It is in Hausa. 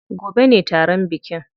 Gobe ne taron bikin.